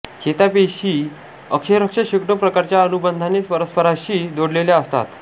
चेतापेशी अक्षरश शेकडो प्रकारच्या अनुबंधाने परस्पराशी जोडलेल्या असतात